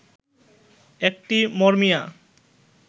একটি মরমিয়া